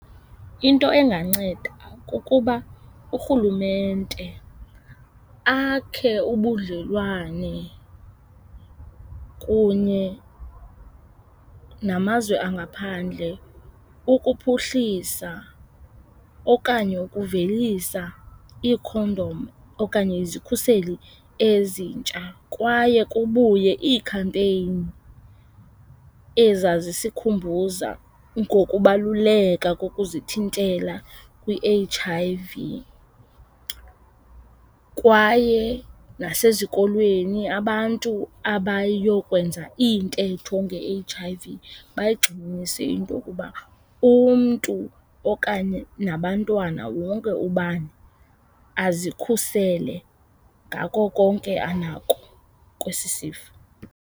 Into enganceda kukuba uRhulumente akhe ubudlelwane kunye namazwe angaphandle ukuphuhlisa okanye ukuvelisa iikhondom okanye izikhuseli ezintsha kwaye kubuye ii-campaign ezazisikhumbuza ngokubaluleka kokuzithintela kwi-H_I_V. Kwaye nasezikolweni abantu abayokwenza iintetho nge-H_I_V bayigxininise into yokuba umntu okanye nabantwana wonke ubani azikhusele ngako konke anako kwesi sifo.